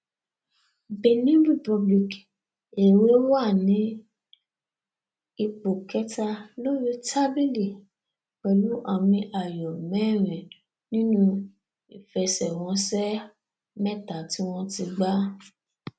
benin republic èwe wà ní ipò kẹta lórí tábìlì pẹlú àmì ayò mẹrin nínú ìfẹsẹwọnsẹ mẹta tí wọn ti gbà